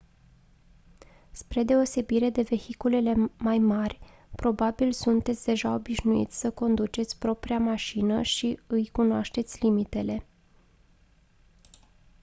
spre deosebire de vehiculele mai mari probabil sunteți deja obișnuit să conduceți propria mașină și îi cunoașteți limitele